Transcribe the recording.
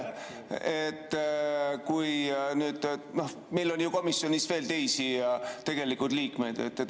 Meil on ju komisjonis veel teisi liikmeid.